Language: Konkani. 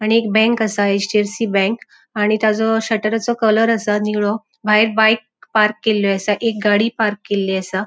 आणि एक बैंक असा. एच.डी.एफ.सी. बैंक आणि ताजो शटरचो कलर असा नीळो भायर बाइक पार्क केल्ली असा. एक गाड़ी पार्क केल्ली असा.